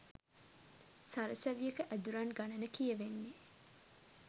සරසවියක ඇදුරන් ගණන කියවෙන්නෙ